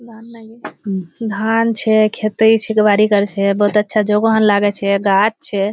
धान छे खेती बाड़ी कोर छे बोलोत अच्छा जोगोखान लागे छे गाछ छे।